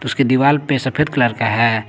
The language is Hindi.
उसके दीवाल पे सफेद कलर का है।